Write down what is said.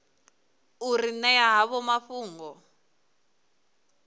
u ri ṅea havho mafhungo